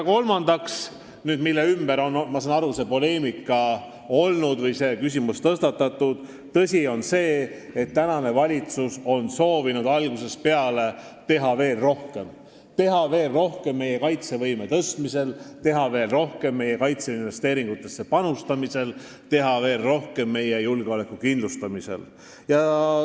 Kolmandaks – ma saan aru, et selle ümber on olnud poleemika ja seetõttu on see küsimus tõstatatud –, tõsi on see, et valitsus on soovinud algusest peale teha veel rohkem, teha veel rohkem meie kaitsevõime tõstmisel, meie kaitseinvesteeringutesse panustamisel ja meie julgeoleku kindlustamisel.